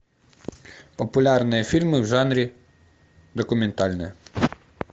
популярные фильмы в жанре документальные